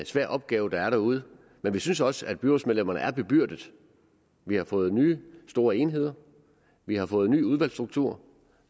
svær opgave der er derude men vi synes også at byrådsmedlemmerne er bebyrdede vi har fået nye store enheder vi har fået en ny udvalgsstruktur